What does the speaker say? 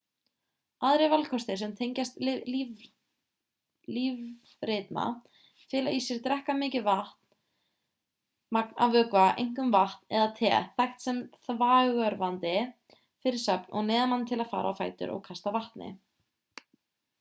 aðrir valkostir sem tengjast lífritma fela í sér að drekka mikið magn af vökva einkum vatn eða te þekkt sem þvagörvandi fyrir svefn og neyða mann til að fara á fætur og kasta vatni